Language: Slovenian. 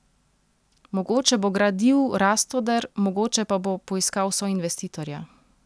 Mogoče bo gradil Rastoder, mogoče pa bo poiskal soinvestitorja.